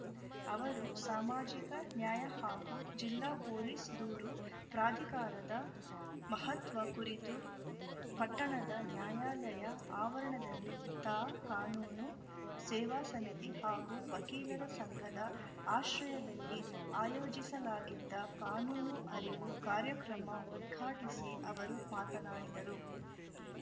ಅವರು ಸಾಮಾಜಿಕ ನ್ಯಾಯ ಹಾಗೂ ಜಿಲ್ಲಾ ಪೊಲೀಸ್‌ ದೂರು ಪ್ರಾಧಿಕಾರದ ಮಹತ್ವ ಕುರಿತು ಪಟ್ಟಣದ ನ್ಯಾಯಾಲಯ ಆವರಣದಲ್ಲಿ ತಾ ಕಾನೂನು ಸೇವಾ ಸಮಿತಿ ಹಾಗೂ ವಕೀಲರ ಸಂಘದ ಆಶ್ರಯದಲ್ಲಿ ಆಯೋಜಿಸಲಾಗಿದ್ದ ಕಾನೂನು ಅರಿವು ಕಾರ್ಯಕ್ರಮ ಉದ್ಘಾಟಿಸಿ ಅವರು ಮಾತನಾಡಿದರು